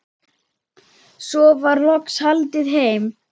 Svo var loks haldið heim.